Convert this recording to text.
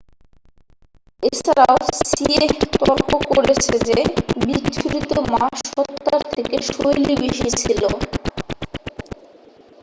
এছাড়াও সিয়েহ তর্ক করেছে যে বিচ্ছুরিত মা সত্ত্বার থেকে শৈলী বেশি ছিল